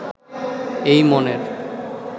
এই মনের